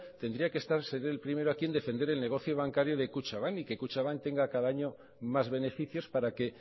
tendría que estar ser el primero a quien defender el negocio bancario de kutxabank y que kutxabank tenga cada año más beneficios para que